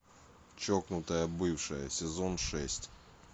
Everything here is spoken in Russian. чокнутая бывшая сезон шесть